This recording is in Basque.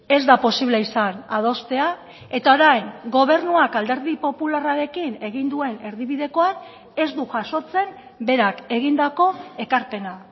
ez da posible izan adostea eta orain gobernuak alderdi popularrarekin egin duen erdibidekoan ez du jasotzen berak egindako ekarpena